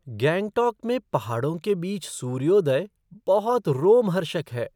गैंगटॉक में पहाड़ों के बीच सूर्योदय बहुत रोमहर्षक है।